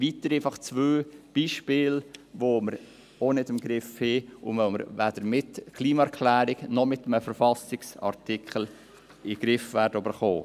Dies sind zwei Beispiele von Dingen, die wir auch nicht im Griff haben, und die wir weder mit einer Klimaerklärung noch mit einem Verfassungsartikel in den Griff bekommen werden.